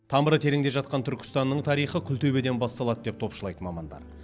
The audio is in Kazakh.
тамыры тереңде жатқан түркістанның тарихы күлтөбеден басталады деп топшылайды мамандар